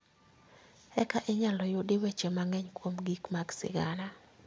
Eka inyalo yudi weche mang'eny kuom gik mag sigana